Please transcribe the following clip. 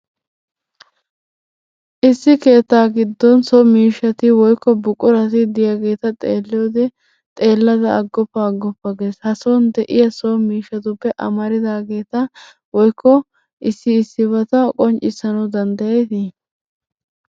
Issi keettaa giddon so miishshati woyikko buqurati de'iyageeta xeelliyode xeellada aggoppa aggoppa ges. Ha son de'iya so miishshatuppe amaridaageeta woyikko issi issibata qonccissanawu danddayeeti?